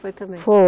Foi também?